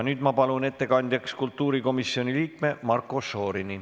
Nüüd ma palun ettekandjaks kultuurikomisjoni liikme Marko Šorini.